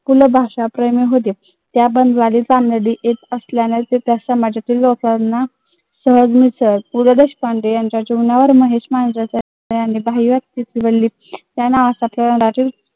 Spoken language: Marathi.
पु ल भाषाप्रेमी होते. त्या बंजारी पु ल देशपांडे यांचा